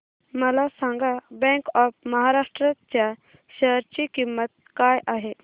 मला सांगा bank of Maharashtra च्या शेअर ची किंमत काय आहे